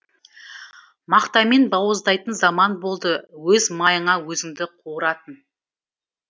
мақтамен бауыздайтын заман болды өз майыңа өзіңді қуыратын